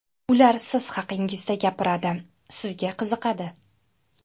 Ular siz haqingizda gapiradi, sizga qiziqadi.